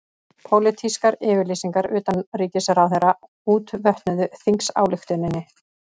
Pólitískar yfirlýsingar utanríkisráðherra útvötnuðu þingsályktunina